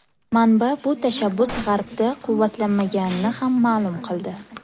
Manba bu tashabbus G‘arbda quvvatlanmaganini ham ma’lum qildi.